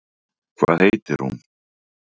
Hvað heitir hún?